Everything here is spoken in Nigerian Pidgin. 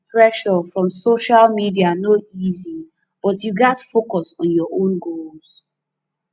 pressure from social media no easy but you gats focus on your own goals